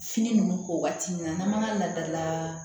Fini nunnu ko waati min na n'an ma lada